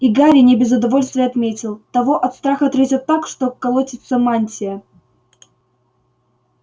и гарри не без удовольствия отметил того от страха трясёт так что колотится мантия